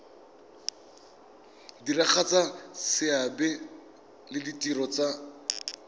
diragatsa seabe le ditiro tsa